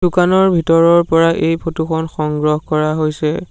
দোকানৰ ভিতৰৰ পৰা এই ফটো খন সংগ্ৰহ কৰা হৈছে।